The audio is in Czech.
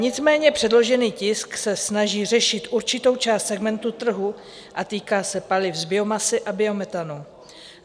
Nicméně předložený tisk se snaží řešit určitou část segmentu trhu, a týká se paliv z biomasy a biometanu.